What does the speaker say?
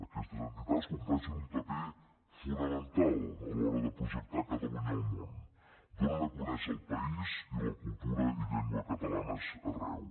aquestes entitats compleixen un paper fonamental a l’hora de projectar catalunya al món donen a conèixer el país i la cultura i llengua catalanes arreu